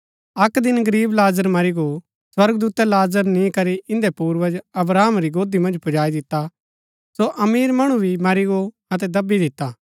अक्क दिन गरीब लाजर मरी गो स्वर्गदूतै लाजर नी करी इन्दै पूर्वज अब्राहम री गोदी मन्ज पुजाई दिता सो अमीर मणु भी मरी गो अतै दव्बी दिता